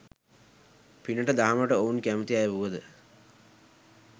පිනට දහමට ඔවුන් කැමති අය වුවද,